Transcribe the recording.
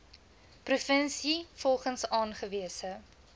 provinsie volgens aangewese